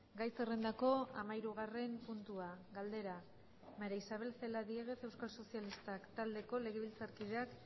gai zerrendako hamahirugarren puntua galdera maría isabel celaá diéguez euskal sozialistak taldeko legebiltzarkideak